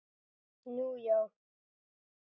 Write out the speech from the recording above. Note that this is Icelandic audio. Nú, já!